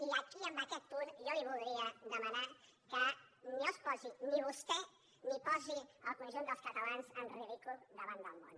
i aquí en aquest punt jo li voldria demanar que no es posi vostè ni posi el conjunt dels catalans en ridícul davant del món